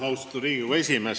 Austatud Riigikogu esimees!